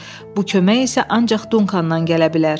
Bu kömək isə ancaq Dunkanan gələ bilər.